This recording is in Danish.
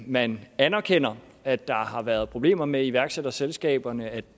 man anerkender at der har været problemer med iværksætterselskaberne at